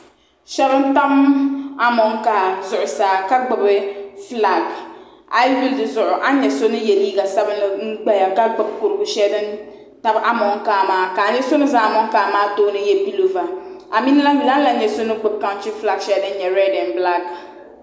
Shɛba n tam amonkaa zuɣusaa ka gbubi flak ayi yuli di zuɣu ani yɛ so ni yiɛ liiga sabinli n gbaya ka gbubi kurigu shɛli din tabi amonkaa maa ka ayɛa so ni za amonkaa maa tooni n yiɛ puloova a mi ni lahi yuli ani lan yɛa soni gbubi kantri flak shɛli din yɛ rɛd en blaki.